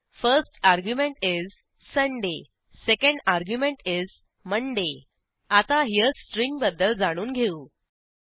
1एसटी argument is Sunday second argument is Monday आता हेरे string बद्दल जाणून घेऊ